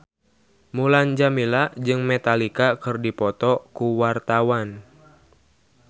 Mulan Jameela jeung Metallica keur dipoto ku wartawan